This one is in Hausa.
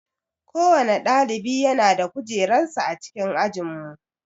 Kowanne ɗalibi yana da kujerar sa a cikin ajinmu